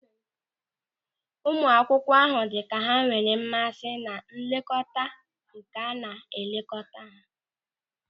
Ụmụ akwụkwọ ahụ dị ka ha enwere mmasị na nlekọta nke a na elekọta ha.